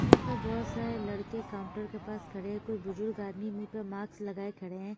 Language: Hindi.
यहाँ पर बोहोत सारे लड़के काउंटर पर के पास खड़े कुछ बुजुर्ग आदमी मुह्ह पर मास्क लगाये खड़े है।